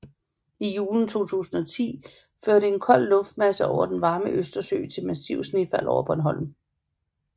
I julen 2010 førte en kold luftmasse over den varme Østersø til massiv snefald over Bornholm